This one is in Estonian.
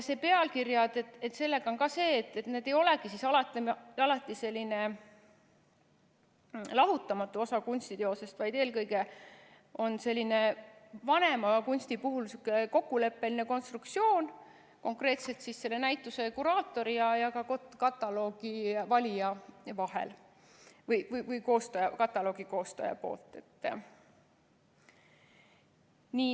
Pealkirjadega on ka nii, et need ei olegi alati lahutamatu osa kunstiteosest, vaid eelkõige on see just vanema kunsti puhul selline kokkuleppeline konstruktsioon, konkreetselt siis selle näituse kuraatori ja kataloogi koostaja vahel.